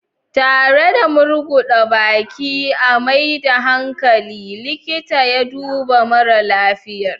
Tare da murguda baki a maida hankali, likita ya duba mara lafiyar.